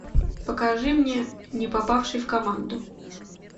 покажи мне не попавший в команду